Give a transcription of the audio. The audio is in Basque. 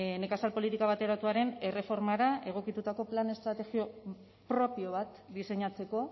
nekazal politika bateratuaren erreformari egokitutako plan estrategiko propio bat diseinatzeko